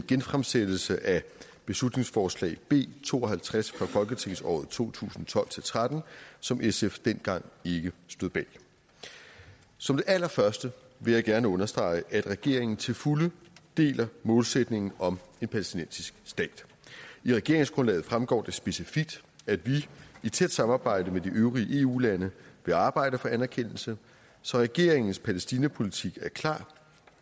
genfremsættelse af beslutningsforslag b to og halvtreds fra folketingsåret to tusind og tolv til tretten som sf dengang ikke stod bag som det allerførste vil jeg gerne understrege at regeringen til fulde deler målsætningen om en palæstinensisk stat i regeringsgrundlaget fremgår det specifikt at vi i tæt samarbejde med de øvrige eu lande vil arbejde for anerkendelse så regeringens palæstina politik er klar